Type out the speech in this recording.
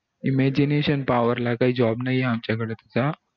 imagination power ला काई job नई आमच्या कडे सध्या